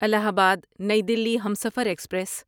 الہ آباد نئی دہلی ہمسفر ایکسپریس